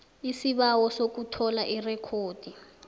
isibawo sokuthola irekhodi